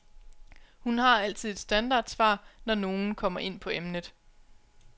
Hun har altid et standardsvar, når nogen kommer ind på emnet.